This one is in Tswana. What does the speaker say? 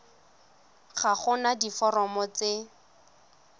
ga go na diforomo tse